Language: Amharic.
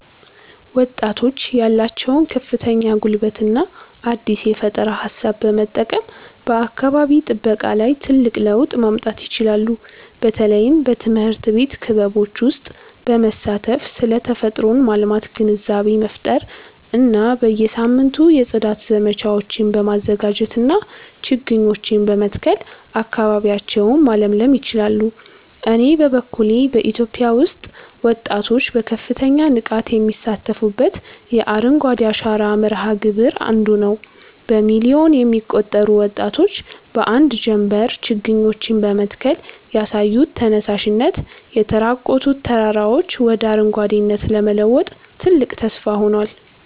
ወጣቶች ያላቸውን ከፍተኛ ጉልበትና አዲስ የፈጠራ ሃሳብ በመጠቀም በአካባቢ ጥበቃ ላይ ትልቅ ለውጥ ማምጣት ይችላሉ። በተለይም በትምህርት ቤት ክበቦች ውስጥ በመሳተፍ ስለ ተፈጥሮን ማልማት ግንዛቤ መፍጠር እና በየሳምንቱ የጽዳት ዘመቻዎችን በማዘጋጀትና ችግኞችን በመትከል አካባቢያቸውን ማለምለል ይችላሉ። እኔ በበኩሌ በኢትዮጵያ ውስጥ ወጣቶች በከፍተኛ ንቃት የሚሳተፉበትን የአረንጓዴ አሻራ መርሃ ግብር 1ዱ ነዉ። በሚሊዮን የሚቆጠሩ ወጣቶች በአንድ ጀምበር ችግኞችን በመትከል ያሳዩት ተነሳሽነት፣ የተራቆቱ ተራራዎችን ወደ አረንጓዴነት ለመለወጥ ትልቅ ተስፋ ሆኗል።